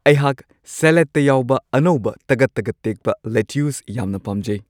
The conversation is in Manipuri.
ꯑꯩꯍꯥꯛ ꯁꯦꯂꯠꯇ ꯌꯥꯎꯕ ꯑꯅꯧꯕ ꯇꯒꯠ-ꯇꯒꯠ ꯇꯦꯛꯄ ꯂꯦꯇ꯭ꯌꯨꯁ ꯌꯥꯝꯅ ꯄꯥꯝꯖꯩ ꯫